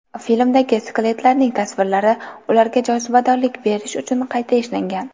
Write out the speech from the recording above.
Filmdagi skeletlarning tasvirlari, ularga jozibadorlik berish uchun qayta ishlangan.